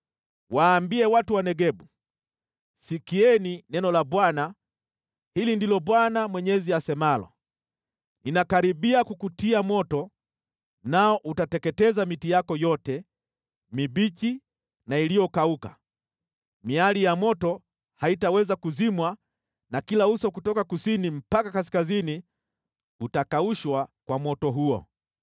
Waambie watu wa Negebu: ‘Sikieni neno la Bwana . Hili ndilo Bwana Mwenyezi asemalo: Ninakaribia kukutia moto, nao utateketeza miti yako yote, mibichi na iliyokauka. Miali ya moto haitaweza kuzimwa na kila uso kutoka kusini mpaka kaskazini utakaushwa kwa moto huo.